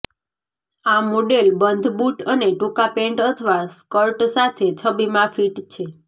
આ મોડેલ બંધ બૂટ અને ટૂંકા પેન્ટ અથવા સ્કર્ટ સાથે છબીમાં ફિટ છે